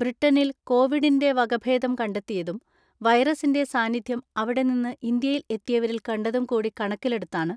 ബ്രിട്ടനിൽ കോവിഡിന്റെ വകഭേദം കണ്ടെത്തി യതും വൈറസിന്റെ സാന്നിധ്യം അവിടെ നിന്ന് ഇന്ത്യയിൽ എത്തി യവരിൽ കണ്ടതും കൂടി കണക്കിലെടുത്താണ്